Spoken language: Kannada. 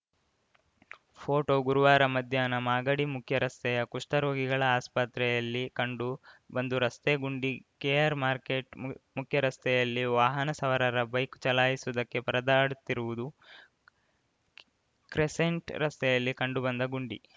ಫೋಟೋ ಗುರುವಾರ ಮಧ್ಯಾಹ್ನ ಮಾಗಡಿ ಮುಖ್ಯ ರಸ್ತೆಯ ಕುಷ್ಟರೋಗಿಗಳ ಆಸ್ಪತ್ರೆಯಲ್ಲಿ ಕಂಡು ಬಂದು ರಸ್ತೆ ಗುಂಡಿ ಕೆಆರ್‌ಮಾರ್ಕೆಟ್ ಮುಖ್ಯ ರಸ್ತೆಯಲ್ಲಿ ವಾಹನ ಸವಾರರ ಬೈಕ್‌ ಚಲಾಯಿಸುವುದಕ್ಕೆ ಪರದಾಡುತ್ತಿರುವುದು ಕ್ರೆಸೆಂಟ್‌ ರಸ್ತೆಯಲ್ಲಿ ಕಂಡು ಬಂದ ಗುಂಡಿ